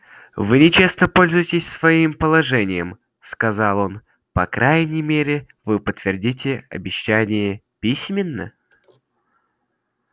вы нечестно пользуетесь своим положением сказал он по крайней мере вы подтвердите обещание письменно